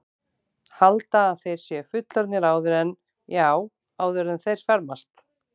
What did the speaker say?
Halda að þeir séu fullorðnir áður en, já, áður en þeir fermast.